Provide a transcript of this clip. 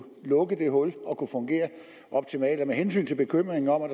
lukke det hul og fungere optimalt med hensyn til bekymringen om at